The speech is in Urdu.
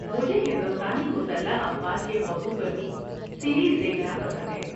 مجھے ہندوستانی مسلح افواج کے موضوع پر بھی سیریز دیکھنا پسند ہے۔